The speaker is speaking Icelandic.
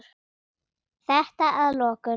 Og þetta að lokum.